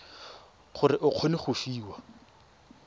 gore o kgone go fiwa